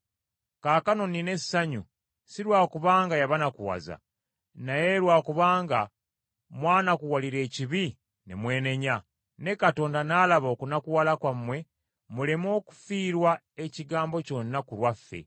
Kaakano nnina essanyu, si lwa kubanga yabanakuwaza, naye lwa kubanga mwanakuwalira ekibi ne mwenenya, ne Katonda n’alaba okunakuwala kwammwe muleme okufiirwa ekigambo kyonna ku lwaffe.